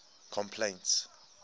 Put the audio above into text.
complaints